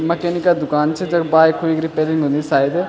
मकेनिके दुकान च जख बाइकुई क रिपेयरिंग हुन्दी सायद।